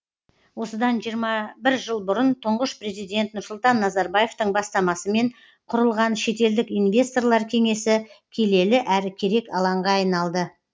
осыдан жиырма бір жыл бұрын тұңғыш президент нұрсұлтан назарбаевтың бастамасымен құрылған шетелдік инвесторлар кеңесі келелі әрі керек алаңға айналды